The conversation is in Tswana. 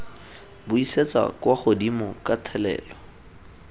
buisetsa kwa godimo ka thelelo